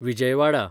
Vijayawada